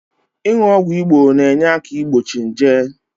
Inu ogwu Igbo na-enyeaka igbochi nje